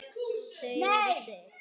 Þau eru stirð.